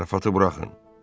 Zarafatı buraxın.